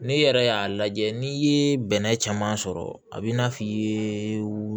N'i yɛrɛ y'a lajɛ n'i ye bɛnɛ caman sɔrɔ a b'i n'a fɔ i ye